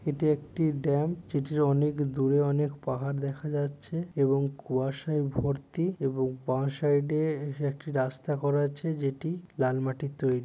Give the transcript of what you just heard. এটি একটি ডাম্প যেটির অনেক দূরে অনেক পাহাড় দেখা যাচ্ছে এবং কুয়াশায় ভর্ত এবং বাঁ সাইডে একটি রাস্তা করা আছে | যেটি লাল মাটির তৈরি।